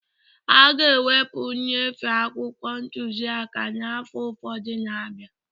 A ga-ewepụ nnyefe akwụkwọ ntuziaka n'afọ ụfọdụ na-abịa